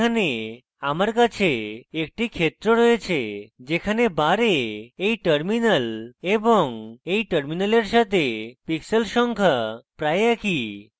এখানে আমার কাছে একটি ক্ষেত্র রয়েছে যেখানে bar এই terminal এবং এই terminal সাথে pixels সংখ্যা প্রায় একই